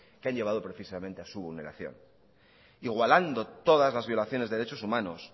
que han llevado precisamente a su vulneración igualando todas las violaciones de derechos humanos